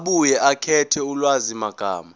abuye akhethe ulwazimagama